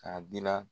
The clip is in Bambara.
K'a gilan